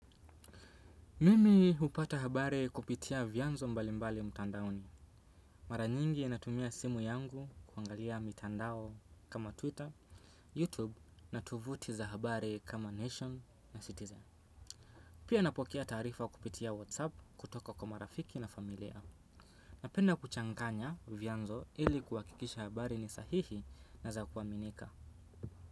Mimi hupata habari kupitia vyanzo mbali mbali mtandaoni. Mara nyingi natumia simu yangu kuangalia mitandao kama Twitter, YouTube na tovuti za habari kama Nation na Citizen. Pia napokea taarifa kupitia WhatsApp kutoka kwa marafiki na familia. Napenda kuchanganya vyanzo ili kuhakikisha habari ni sahihi na za kuaminika.